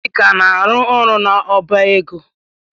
Chika na-arụ n'ọbá égo.